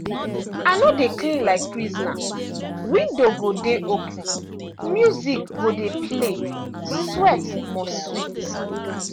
i no dey clean like prisoner window go dey open music go dey play sweat must sweet.